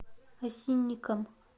осинникам